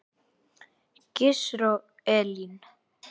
Gizur og Elín.